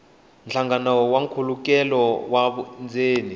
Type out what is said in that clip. nhlangano na nkhulukelano wa vundzeni